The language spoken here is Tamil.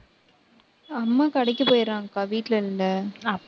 அம்மா கடைக்கு போயிடறாங்கக்கா வீட்டில இல்லை